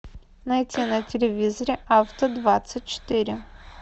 найти на телевизоре авто двадцать четыре